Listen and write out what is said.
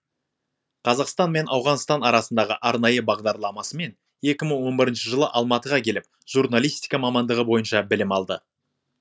қазақстан мен ауғанстан арасындағы арнайы бағдарламасымен екі мың он бірінші жылы алматыға келіп журналистика мамандығы бойынша білім алды